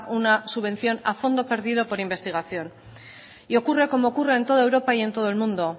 una subvención a fondo perdido por investigación y ocurre como ocurre en toda europa y en todo el mundo